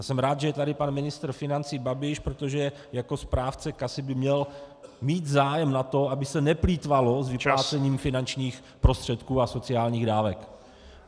A jsem rád, že je tady pan ministr financí Babiš, protože jako správce kasy by měl mít zájem na tom, aby se neplýtvalo s vyplácením finančních prostředků a sociálních dávek.